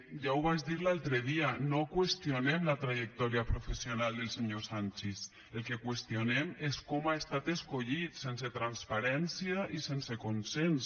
ja ho vaig dir l’altre dia no qüestionem la trajectòria professional del senyor sanchis el que qüestionem és com ha estat escollit sense transparència i sense consens